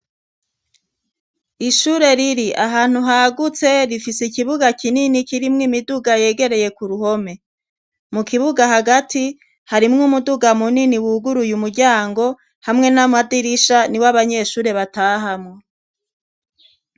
Ishure riri ahantu hagutse rifise ikibuga kinini kirimwo imiduga yegereye ku ruhome. Mu kibuga hagati, harimwo umuduga munini wuguruye umuryango, hamwe n'amadirisha niwo abanyeshure batahamwe